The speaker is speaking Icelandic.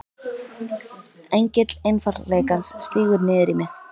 Engill einfaldleikans stígur niður í mig.